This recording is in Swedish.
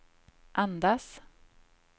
andas